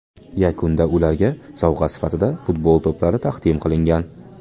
Yakunda ularga sovg‘a sifatida futbol to‘plari taqdim qilingan.